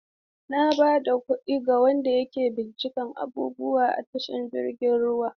Na ba da kuɗi ga wanda ke bincika abubuwa a tashar jiragen ruwa.